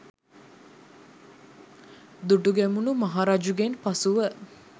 දුටුගැමුණු මහ රජුගෙන් පසුව